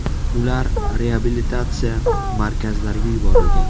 Ular reabilitatsiya markazlariga yuborilgan.